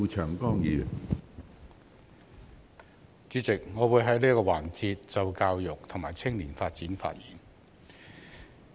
主席，我會在這個辯論環節就教育及青年發展發言。